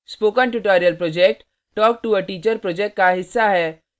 spoken tutorial project talktoa teacher project का हिस्सा है